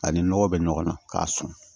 A ni nɔgɔ bɛ ɲɔgɔn na k'a sɔn